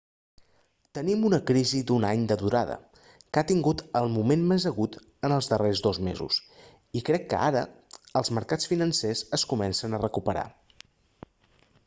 tenim una crisi d'un any de durada que ha tingut el moment més agut en els darrers dos mesos i crec que ara els marcats financers es comencen a recuperar